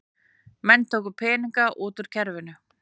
Menn tóku peninga út úr kerfinu